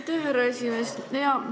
Aitäh, härra esimees!